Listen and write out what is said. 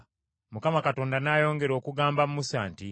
Mukama Katonda n’ayongera okugamba Musa nti,